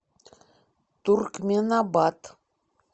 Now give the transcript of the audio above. туркменабат